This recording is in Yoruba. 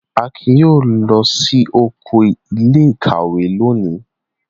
Akin yóò lọ sí oko ilé-ìwé lónìí!